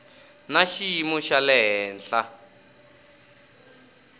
na xiyimo xa le henhla